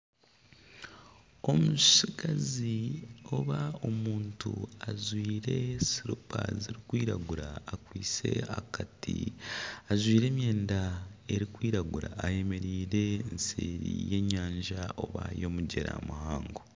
Omutsigazi oba omuntu ajwaire silipa zirikwiragura akwitse akati ajwire emyenda erikwiragura ayemereire eseeri y'enyanja oba y'omugyera muhango